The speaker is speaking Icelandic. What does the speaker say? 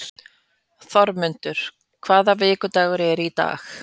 Þormundur, hvaða vikudagur er í dag?